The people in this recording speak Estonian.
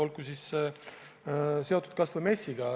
Toon näiteks kas või MES-i.